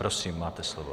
Prosím, máte slovo.